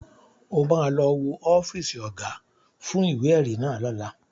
O ma lọ wo ọ́fíìsì Ọ̀gá fún ìwé-ẹ̀rí náà lọ́la